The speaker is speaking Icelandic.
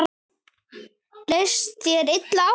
Leist þér illa á þetta?